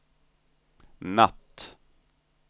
natt